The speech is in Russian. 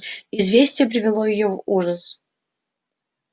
известие привело её в ужас